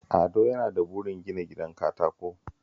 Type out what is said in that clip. Ado yana da burin gina gidan katako